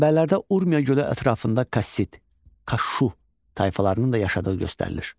Mənbələrdə Urmiya gölü ətrafında Kassit, Kaşşu tayfalarının da yaşadığı göstərilir.